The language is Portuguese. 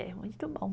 É muito bom.